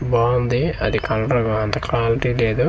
బావుంది అది కంకర అంత క్వాల్టి లేదు.